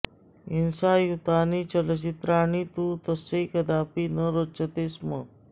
हिंसायुतानि चलच्चित्राणि तु तस्यै कदापि न रोचते स्म